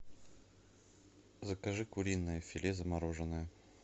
закажи куриное филе замороженное